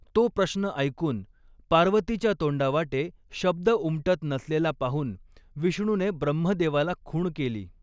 तो प्रश्न ऐकून पार्वतीच्या तोंडावाटे शब्द उमटत नसलेला पाहून विष्णूने ब्रह्मदेवाला खूण केली.